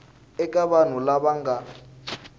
eka vanhu lava va nga